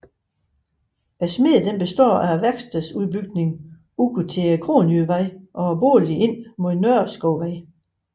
Smedjen består af værkstedsbygningen ud til Kronjydevej og boligen ind mod Nørreskovvej